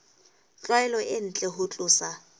tlwaelo e ntle ho tlosa